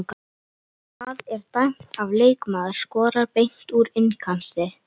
Hvað er dæmt ef leikmaður skorar beint úr innkasti?